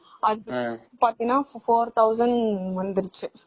அது பாத்தீங்கன்னா four thousand வந்துருச்சு